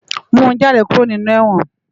Mú jàdé kúró ninú èwòn